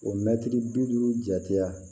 O mɛtiri bi duuru jatera